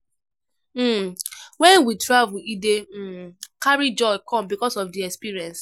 um When we travel e dey um carry joy come because of di experience